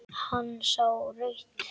Sá rautt.